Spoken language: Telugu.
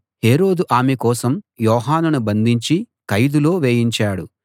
హేరోదు ఆమె కోసం యోహానును బంధించి ఖైదులో వేయించాడు